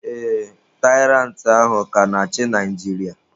Ee, Tairantị ahụ ka na-achị Naijiria.